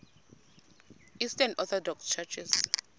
eastern orthodox churches